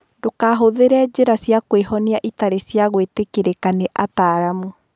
Ndũkahũthĩre njĩra cia kwĩhonia itarĩ cia gwĩtĩkĩrĩka nĩ ataaramu.